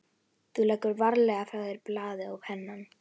Þú leggur varlega frá þér blaðið og pennann.